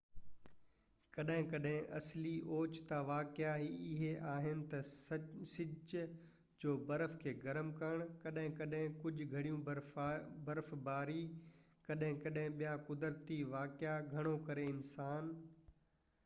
ڪڏهن ڪڏهن اصلي اوچتا واقعا اهي آهن تہ سج جو برف کي گرم ڪرڻ ڪڏهن ڪڏهن ڪجهہ گهڻي برفباري ڪڏهن ڪڏهن ٻيا قدرتي واقعا گهڻو ڪري انسان